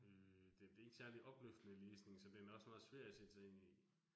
Øh det det ikke særlig opløftende læsning, så den er også meget svær at sætte sig ind i